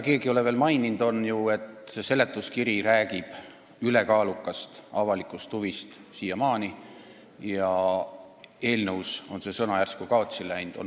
Keegi ei ole veel maininud seda, et seletuskiri räägib siiamaani ülekaalukast avalikust huvist, ehkki eelnõus on see sõna järsku kaotsi läinud.